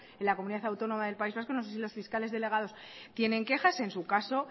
en la comunidad autónoma del país vasco no sé si los fiscales delegados tienen quejas en su caso